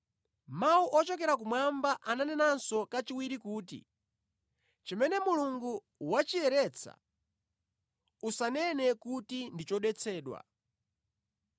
“Mawu ochokera kumwamba ananenanso kachiwiri kuti, ‘Chimene Mulungu wachiyeretsa usanene kuti ndi chodetsedwa.’